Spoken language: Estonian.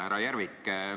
Härra Järvik!